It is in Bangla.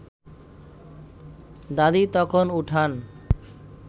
দাদি তখন উঠান